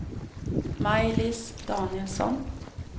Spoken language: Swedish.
Maj-Lis Danielsson